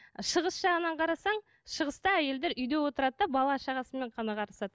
шығыс жағынан қарасаң шығыста әйелдер үйде отырады да бала шағасымен